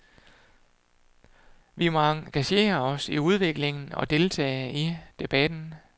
Vi må engagere os i udviklingen og deltage i debatten.